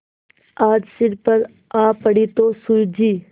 आज सिर पर आ पड़ी तो सूझी